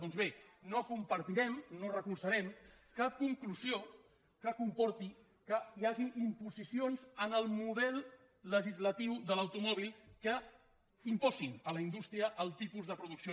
doncs bé no compartirem no recolzarem cap conclusió que comporti que hi hagi imposicions en el model legislatiu de l’automòbil que imposin a la indústria el tipus de producció